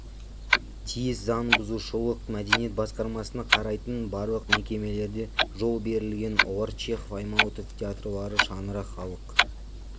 тиіс заңбұзушылық мәдениет басқармасына қарайтын барлық мекемелерде жол берілген олар чехов аймауытов театрлары шаңырақ халық